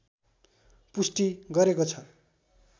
पुष्टि गरेको छ